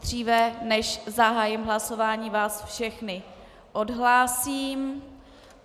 Dříve, než zahájím hlasování, vás všechny odhlásím.